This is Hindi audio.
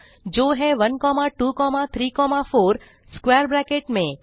जो है 1234 स्क्वैर ब्रैकेट में